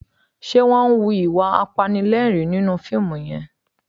Ṣe wọ́n ń hu ìwà apanilẹ́rìn-ín nínú fíìmù yẹn?